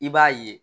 I b'a ye